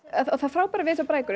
það frábæra við þessar brækur er